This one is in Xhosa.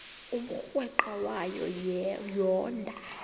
umrweqe wayo yoonda